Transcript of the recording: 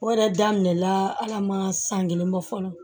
O yɛrɛ daminɛna ala ma san kelen bɔ fɔlɔ